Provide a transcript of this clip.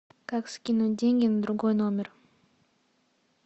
как скинуть деньги на другой номер